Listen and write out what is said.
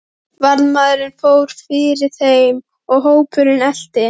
Varðmaðurinn fór fyrir þeim og hópurinn elti.